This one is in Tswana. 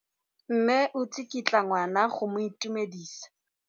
Mme o tsikitla ngwana go mo itumedisa.